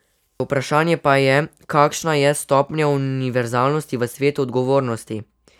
Vprašanje pa je, kakšna je stopnja univerzalnosti v svetu odgovornosti.